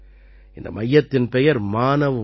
இந்த மையத்தின் பெயர் மானவ் மந்திர்